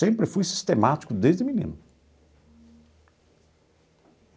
Sempre fui sistemático desde menino.